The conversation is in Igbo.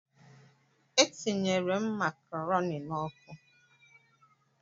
E tinyere m macaroni n'ọkụ?